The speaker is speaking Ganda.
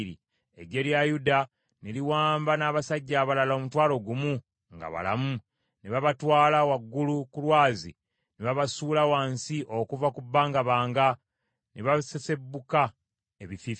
Eggye lya Yuda ne liwamba n’abasajja abalala omutwalo gumu nga balamu, ne babatwala waggulu ku lwazi, ne babasuula wansi okuva ku bbangabanga, ne basesebbuka ebifiififi.